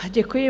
Děkuji.